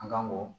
An kan k'o